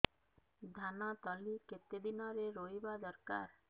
ଧାନ ତଳି କେତେ ଦିନରେ ରୋଈବା ଦରକାର